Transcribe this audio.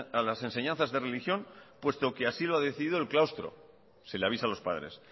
a las enseñanzas de religión puesto que así lo ha decidido el claustro se le avisa a los padres